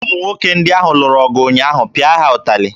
Ụmụ nwoke ndị ahụ lụrụ ọgụ ụnyaahụ, pịa ha ụtalị!